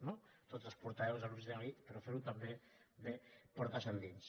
no tots els portaveus aprofitem aquí però ferho també portes endins